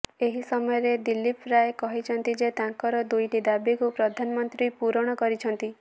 ଏହି ସମୟରେଦିଲ୍ଲୀପ ରାୟ କହିଛନ୍ତି ଯେ ତାଙ୍କର ଦୁଇଟି ଦାବିକୁ ପ୍ରଧାନମନ୍ତ୍ରୀ ପୂରଣ କରିଛନ୍ତି